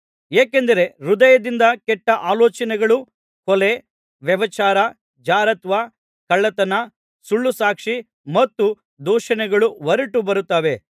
ಏಕೆಂದರೆ ಹೃದಯದಿಂದ ಕೆಟ್ಟ ಆಲೋಚನೆಗಳು ಕೊಲೆ ವ್ಯಭಿಚಾರ ಜಾರತ್ವ ಕಳ್ಳತನ ಸುಳ್ಳುಸಾಕ್ಷಿ ಮತ್ತು ದೂಷಣೆಗಳು ಹೊರಟು ಬರುತ್ತವೆ